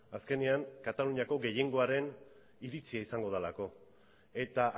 azkenean kataluniako gehiengoaren iritzia izango delako eta